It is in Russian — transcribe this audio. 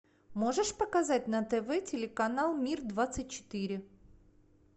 можешь показать на тв телеканал мир двадцать четыре